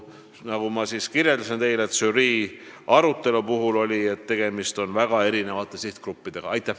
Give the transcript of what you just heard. Nagu ma ütlesin, žürii leidis, et tegemist on väga erinevate sihtgruppidega.